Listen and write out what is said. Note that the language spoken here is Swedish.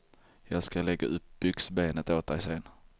Jag ska lägga upp byxbenet åt dig sen.